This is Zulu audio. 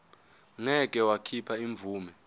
ngeke wakhipha imvume